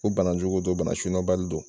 Ko bana jugu do bana sydɔnbali don